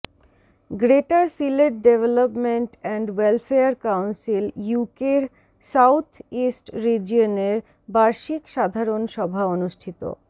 greater Sylhet development and welfare council ইউকের south east রিজিওনের বার্ষিক সাধারন সভা অনুষ্ঠিত